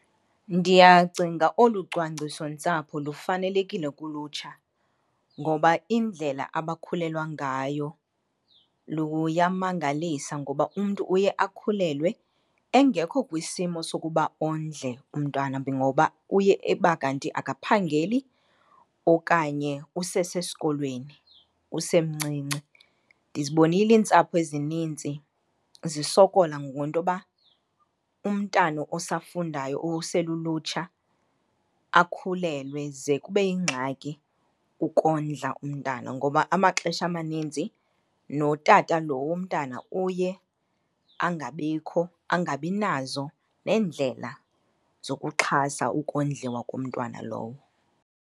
Ndiyacinga olu cwangcisontsapho lufanelekile kulutsha ngoba indlela abakhulelwa ngayo luyamangalisa. Ngoba umntu uye akhulelwe engekho kwisimo sokuba ondle umntwana , ngoba uye eba kanti akaphangeli okanye usesesikolweni, usemncinci. Ndizibonile iintsapho ezininzi zisokola ngentoba umntana osafundayo uselulutsha akhulelwe ze kube yingxaki ukondla umntana ngoba amaxesha amaninzi notata lo womntana uye angabikho, angabinazo neendlela zokuxhasa ukondliwa komntwana lowo.